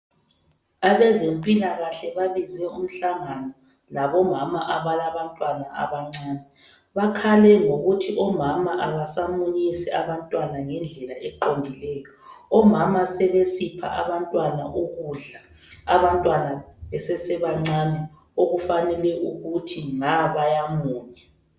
Abezempilakahle babize umhlangano labomama abalabantwana abancane bakhale ngokuthi omama abasamunyisi abantwana ngendlela eqondileyo, omama sebesipha abantwana ukudla abantwana besesabancane okufanele ukuthi nga bayamunya.